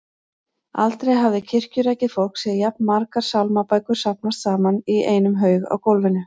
Aldrei hafði kirkjurækið fólk séð jafn margar sálmabækur safnast saman í einum haug á gólfinu.